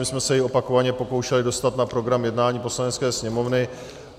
My jsme se jej opakovaně pokoušeli dostat na program jednání Poslanecké sněmovny.